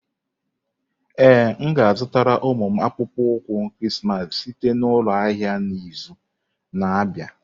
Ee, m ga-azụtara ụmụ m akpụkpọ ụkwụ Krismas site na ụlọ ahịa n'izu na-abịa.